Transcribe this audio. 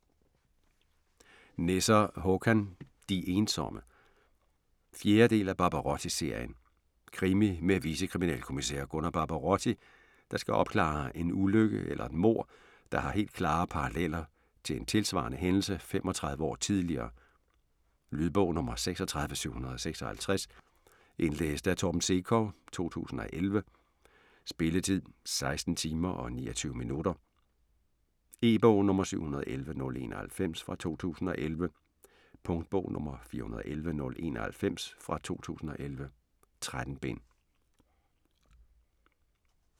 Nesser, Håkan: De ensomme 4. del af Barbarotti-serien. Krimi med vicekriminalkommissær Gunnar Barbarotti, der skal opklare en ulykke eller et mord, der har helt klare paralleller til en tilsvarende hændelse 35 år tidligere. Lydbog 36756 Indlæst af Torben Sekov, 2011. Spilletid: 16 timer, 29 minutter. E-bog 711091 2011. Punktbog 411091 2011. 13 bind.